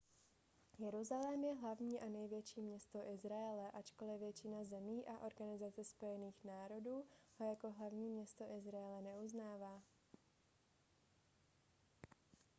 jeruzalém je hlavní a největší město izraele ačkoli většina zemí a organizace spojených národů ho jako hlavní město izraele neuznává